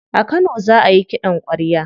A kano za ayi kiɗan kwarya.